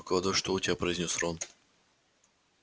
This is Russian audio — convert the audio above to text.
выкладывай что у тебя произнёс рон